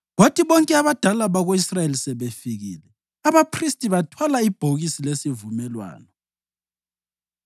Kwathi bonke abadala bako-Israyeli sebefikile, abaphristi bathwala ibhokisi lesivumelwano,